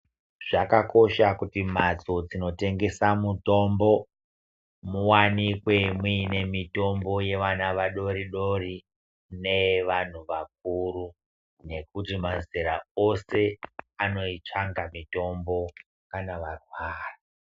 Zvakakosha kuti antu ano tengesa mitombo mu wanikwe mu ine mitombo ye ana adodori ne vantu vakuru nekuti mazera ose anoitsvaka mitombo kana va rwara.